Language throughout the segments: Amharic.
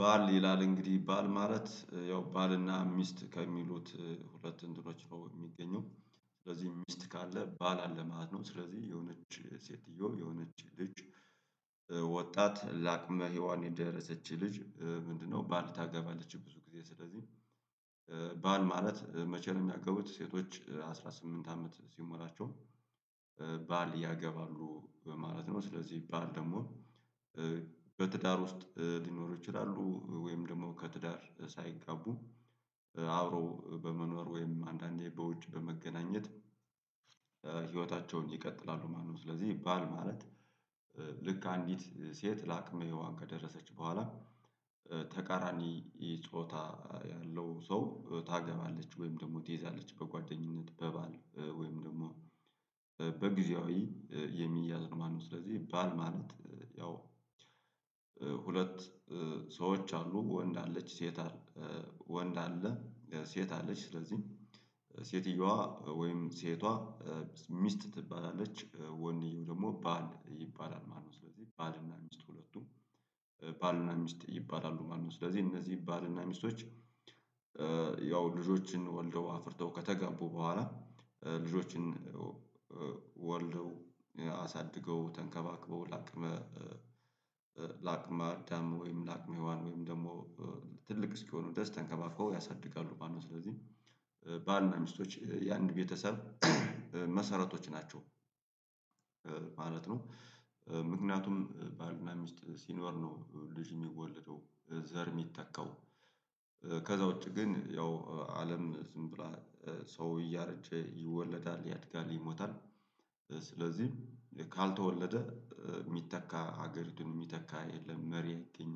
ባል ይላል እንግዲህ ባል ማለት ያው ባልና ሚስት ከሚሉት ሁለት እንትኖች ነው የሚገኘው ስለዚህ ሚስት ካለ ባል አለ ማለት ነው ስለዚህ የሆነች ሴትዮ የሆነች ልጅ ወጣት ለአቅመ ሄዋን የደረሰች ልጅ ምንድነው ባል ታገባለች ብዙ ጊዜ ስለዚህ ባል ማለት መቸ ነው? እሚያገቡት ሴቶች አስራ ስምንት አመት ሲሞላቸው ባል ያገባሉ ማለት ነው ስለዚህ ባል ደግሞ በትዳር ውስጥ ሊኖር ይችላሉ ወይም ደግሞ ከትዳር ሳይጋቡ አብረው በመኖር ወይም አንዳንዴ በውጭ በመገናኘት ህይወታቸውን ይቀጥላሉ ማለት ነው። ስለዚህ ባል ማለት ልክ አንዲት ሴት ለአቅመ ሄዋን ከደረሰች በኋላ ተቃራኒ ጾታ ያለው ሰው ታገባለች ወይም ደግሞ ትይዛለች በጓደኝነት በባል ወይም ደግሞ በጊዜያዊ የሚያዝ ነው ማለት ነው። ስለዚህ ባል ማለት ያው ሁለት ሰዎች አሉ ወንድ አለች ሴት ወንድ አለ ሴት አለች ስለዚህ ሴትየዋ ወይም ሴቷ ሚስት ትባላለች ወንድየው ደግሞ ባል ይባላል ማለት ነው። ስለዚህ ባልና ሚስት ሁለቱም ባልና ሚስት ይባላሉ ማለት ነው። ስለዚህ እነዚህ ባልና ሚስቶች ያው ልጆችን ወልደው አፍርተው ከተጋቡ በኋላ ልጆችን አሳድገው ተንከባክበው ለአቅመ ለአቅመ አዳም ወይም ለአቅመ ሄዋን ወይም ደግሞ ትልቅ እስኪሆኑ ድረስ ተንከባክበው ያሳድጋሉ ማለት ነው። ስለዚህ ባል ነው ሚስቶች የአንድ ቤተሰብ መሰረቶች ናቸው ማለት ነው። ምክንያቱም ባልና ሚስት ሲኖር ነው ልጅ የሚወለደው ዘር የሚተካው ከዛ ውጪ ግን ያው አለም ዝም ብላ ሰው እያረጀ ይወለዳል ያድጋል ይሞታል ስለዚህም ካልተወለደ የሚተካ ሀገር የሚተካ የለም መሪ አይገኝም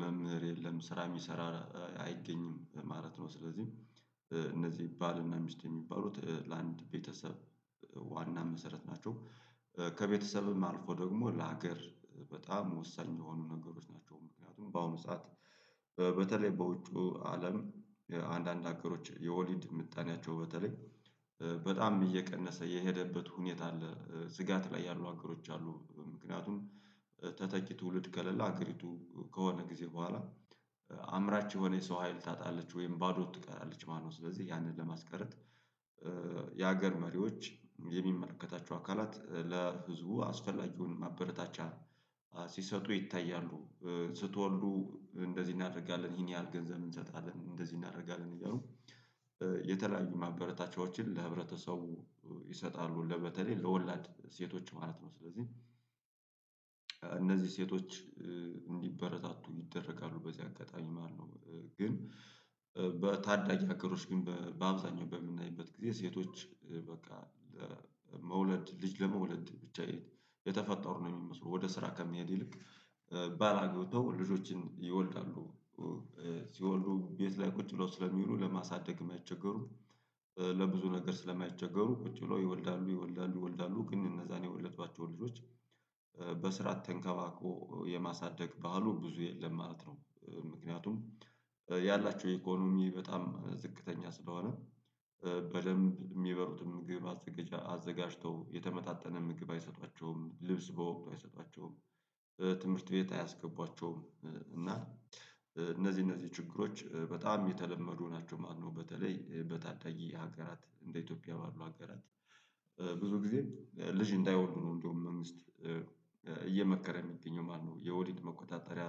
መምህር የለም ስራ የሚሰራ አይገኝም ማለት ነው። ስለዚህ እነዚህ ይባልና ሚስት የሚባሉት ለአንድ ቤተሰብ ዋና መሰረት ናቸው ከቤተሰብም አልፎ ደግሞ ለሀገር በጣም ወሳኝ የሆኑ ነገሮች ናቸው። ምክንያቱም በአሁኑ ሰዓት በተለይ በውጩ አለም አንዳንድ ሀገሮች የወሊድ ምጣኔያቸው በተለይ በጣም እየቀነሰ የሄደበት ሁኔታ አለ ስጋት ላይ ያሉ አገሮች አሉ ምክንያቱም ተተኪ ትውልድ ከሌላ አገሪቱ ከሆነ ጊዜ በኋላ አምራች የሆነ የሰው ሀይል ታጣለች ወይም ባዶ ትቀራለች ማለት ነው። ስለዚህ ያንን ለማስቀረት የሀገር መሪዎች የሚመለከታቸው አካላት ለህዝቡ አስፈላጊውን ማበረታቻ ሲሰጡ ይታያሉ ስትወልዱ እንደዚህ እናደርጋለን ይሄን ያህል ገንዘብ እንሰጣለን እንደዚህ እናደርጋለን እያሉ የተለያዩ ማበረታቻዎችን ለህብረተሰቡ ይሰጣሉ ለበተለይ ለወላድ ሴቶች ማለት ነው። ስለዚህ እነዚህ ሴቶች እንዲበረታቱ ይደረጋሉ በዚህ አጋጣሚ ማለት ነው ግን በታዳጊ ሀገሮች ግን በአብዛኛው በምናይበት ጊዜ ሴቶች በቃ ለመውለድ ልጅ ለመውለድ ብቻ የተፈጠሩ ነው የሚመስሉ ወደ ስራ ከመሄድ ይልቅ ባላገተው ልጆችን ይወልዳሉ ሲወልዱ ቤት ላይ ቁጭ ብለው ስለሚውሉ ለማሳደግ የማይቸገሩ ለብዙ ነገር ስለማይቸገሩ ቁጭ ብለው ይወልዳሉ ይወልዳሉ ይወልዳሉ ግን እነዛን የወለዷቸውን ልጆች በስርዓት ተንከባክቦ የማሳደግ ባህሉ ብዙ የለም ማለት ነው። ምክንያቱም ያላቸው የኢኮኖሚ በጣም ዝቅተኛ ስለሆነ በደንብ የሚበሉትን ምግብ አዘጋጅተው የተመጣጠነ ምግብ አይሰጧቸውም ልብስ በወቅቱ አይሰጧቸውም ትምህርት ቤት አያስገቧቸውም እና እነዚህ እነዚህ ችግሮች በጣም የተለመዱ ናቸው። ማነው በተለይ በታዳጊ ሀገራት እንደ ኢትዮጵያ ባሉ ሀገራት ብዙ ጊዜ ልጅ እንዳይወልዱ ነው እንደውም ሚስት እየመከረ የሚገኘው ማለት ነው። የወዲድ መቆጣጠሪያ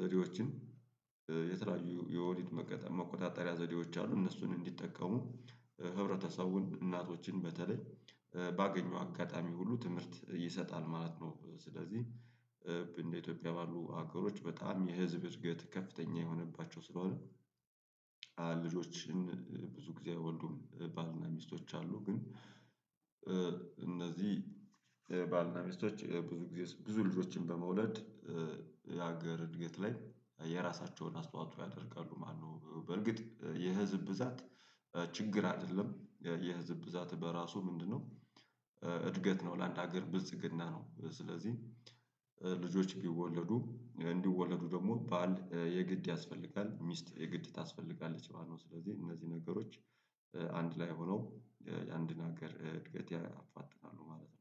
ዘዴዎችን የተለያዩ የወሊድ መገጠም መቆጣጠሪያ ዘዴዎች አሉ እነሱን እንዲጠቀሙ ህብረተሰቡን እናቶችን በተለይ ባገኘው አጋጣሚ ሁሉ ትምህርት ይሰጣል ማለት ነው። ስለዚህ እንደ ኢትዮጵያ ባሉ ሀገሮች በጣም የህዝብ እድገት ከፍተኛ የሆነባቸው ስለሆነ ልጆችን ብዙ ጊዜ ወንዱም ባልና ሚስቶች አሉ ግን እነዚህ ባልና ሚስቶች ብዙ ጊዜ ብዙ ልጆችን በመውለድ የሀገር እድገት ላይ የራሳቸውን አስተዋጽኦ ያደርጋሉ ማለት ነው። በርግጥ የህዝብ ብዛት ችግር አይደለም የህዝብ ብዛት በራሱ ምንድነው? እድገት ነው ለአንድ ሀገር ብልጽግና ነው ስለዚህ ልጆች እንዲወለዱ እንዲወለዱ ደግሞ በዓል የግድ ያስፈልጋል ሚስት የግድ ታስፈልጋለች ማለት ነው። ስለዚህ እነዚህ ነገሮች አንድ ላይ ሆነው አንድ ነገር እድገት ያፋጥናሉ ማለት ነው